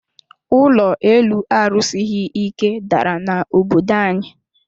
Ụlọ elu a rusighi ike dàrà na obodo anyi